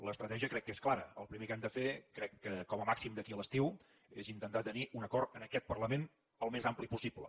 l’estratègia crec que és clara el primer que hem de fer crec que com a màxim d’aquí a l’estiu és intentar tenir un acord en aquest parlament al més ampli possible